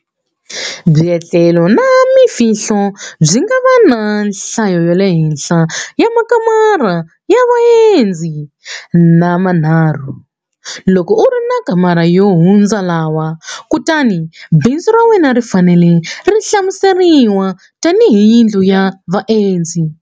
Byetlelo na Mfihlulo byi nga va na nhlayohenhla ya makamara ya vaendzi manharhu. Loko u ri na makamara yo hundza lawa, kutani bindzu ra wena ri fanele ri hlamuseriwa tanihi yindlu ya vaendzi.